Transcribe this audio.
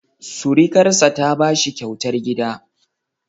Surukarsa ta ba shi kyautar gida.